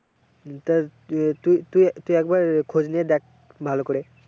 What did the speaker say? তা তুই একবার খোঁজ নিয়ে দেখ ভালো করে।